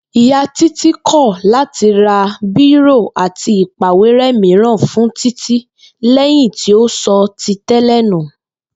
Ìyá Títí kò̩ láti ra bírò àti ìpàwéré̩ mìíràn fún Títí lé̩yìn tí ó so̩ ti té̩lè̩ nù